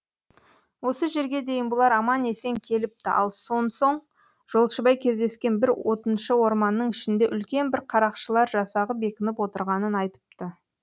осы жерге дейін бұлар аман есен келіпті ал сон соң жолшыбай кездескен бір отыншы орманның ішінде үлкен бір қарақшылар жасағы бекініп отырғанын айтыпты